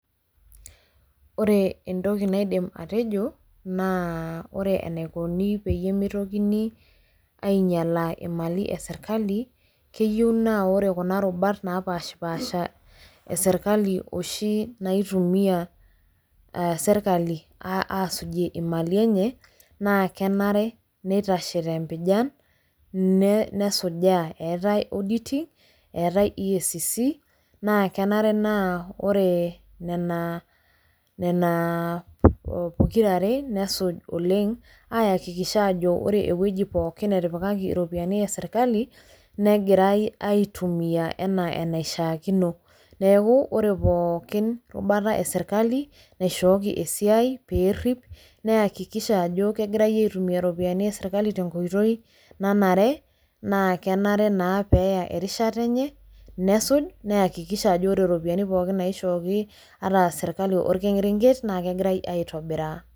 ore entoki naidim atejo, naa ore enaikoni peyie meitokini aing'ialaa imali esirkali, keyieu naa ore kuna rubat naapashipasha esirkali oshi naituia serkali aasujie imali enye, naa kenare neitashe te mpijan, nesujaa, eetae auditing eetae eacc naa kenare naa ore nena pokira are nesuj oleng aakikisha aajo ore ewueji pookin netipaki iropiyiani esirkali negirae aitumia anaa enaishaakino. neeku ore pookin rubata esirkali naishooki esiai pee erip neyakikisha ajo kegirae aitumia iropiyiani esirkali tenkoitoi nanare, naa kenare naa pee eya erishata enye, nesuj naa neyakiksiha ajo ore iropiyiani pookin naishooki ata aserkali orkerenket naa kegira aitobiraa.